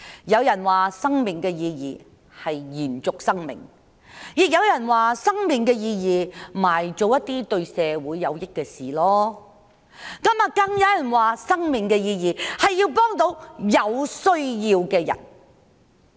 有人說，生命的意義是延續生命；亦有人說，生命的意義是用來做一些對社會有益的事；更有人說，生命的意義，是要幫助有需要的人。